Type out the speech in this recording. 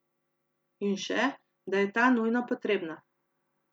In še, da je ta nujno potrebna.